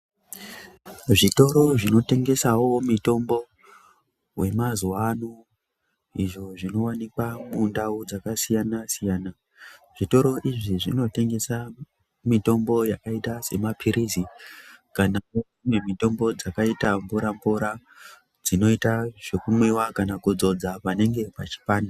Zvitoro zvinotengesawo mitombo yemazuwa ano izvo zvinowanikwawo muzvimbo dzakasiyana siyana. Zvitoro izvi zvinotengesa mitombo yakaita semaphirizi kana dzimwe mitombo dzakaita mvura mvura dzinoita zvekumwiwa kana kudzodza panenge pachipanda